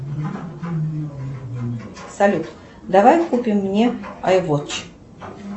салют давай купим мне айвотч